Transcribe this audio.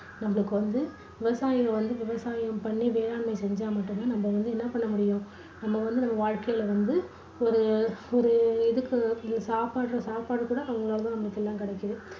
நம்மளுக்கு வந்து விவசாயிகள் வந்து விவசாயம் பண்ணி வேளாண்மை செஞ்சா மட்டுந்தான் நம்ம வந்து என்ன பண்ண முடியும் நம்ம வந்து நம்ம வாழ்க்கைல வந்து ஒரு ஒரு இதுக்கு சாப்பிடற சாப்பாடு கூட அவங்களால தான் அவங்களால தான் கிடைக்குது